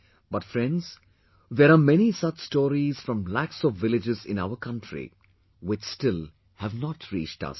But, friends, there are many such stories from lakhs of villages in our country, which still have not reached us